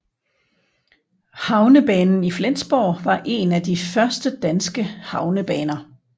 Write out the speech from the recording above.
Havnebanen i Flensborg var en af de første danske havnebaner